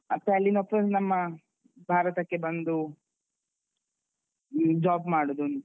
ಮತ್ತೆ ಅಲ್ಲಿಂದ full ನಮ್ಮ ಭಾರತಕ್ಕೆ ಬಂದು job ಮಾಡುದು.